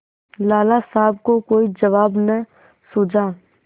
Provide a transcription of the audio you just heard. लाला साहब को कोई जवाब न सूझा